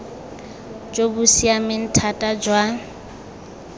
jo bo siameng thata jwa